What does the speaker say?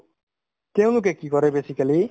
তেওঁলোকে কি কৰে basically